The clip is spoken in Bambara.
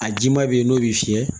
A jiman bɛ yen n'o bɛ fiyɛ